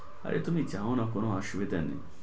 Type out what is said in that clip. আরে তুমি যাওনা কোনো অসুবিধা নেই।